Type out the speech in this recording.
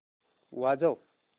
वाजव